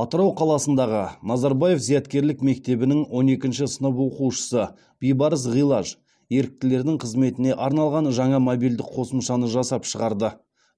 атырау қаласындағы назарбаев зияткерлік мектебінің он екінші сынып оқушысы бибарыс ғилаж еріктілердің қызметіне арналған жаңа мобильдік қосымшаны жасап шығарды